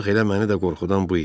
Bax elə məni də qorxudan bu idi.